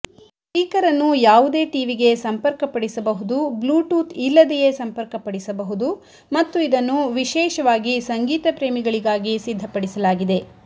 speaker ಅನ್ನು ಯಾವುದೇ ಟಿವಿಗೆ ಸಂಪರ್ಕಪಡಿಸಬಹುದು ಬ್ಲೂಟೂತ್ ಇಲ್ಲದೆಯೇ ಸಂಪರ್ಕಪಡಿಸಬಹುದು ಮತ್ತು ಇದನ್ನು ವಿಶೇಷವಾಗಿ ಸಂಗೀತ ಪ್ರೇಮಿಗಳಿಗಾಗಿ ಸಿದ್ಧಪಡಿಸಲಾಗಿದೆ